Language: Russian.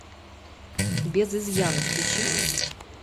без изъяна включи